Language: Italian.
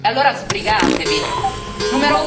Volete recuperare un po' di credibilità?